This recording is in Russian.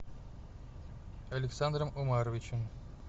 александром омаровичем